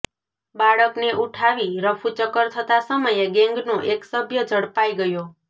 બાળકને ઉઠાવી રફુચક્કર થતા સમયે ગેંગનો એક સભ્ય ઝડપાઈ ગયો